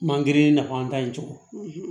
Mangiri nafa an ta in cogo